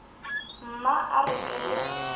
mma e re ke le